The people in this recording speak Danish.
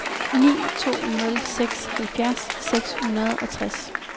ni to nul seks halvfjerds seks hundrede og tres